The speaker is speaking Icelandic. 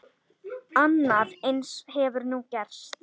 Annað eins hefur nú gerst.